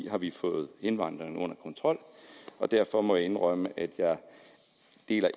har vi fået indvandringen under kontrol derfor må jeg indrømme at jeg